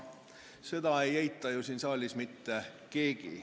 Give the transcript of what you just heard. Seda ei eita siin saalis mitte keegi.